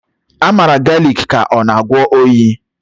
A maara galịk ka ọ na-agwọ oyi.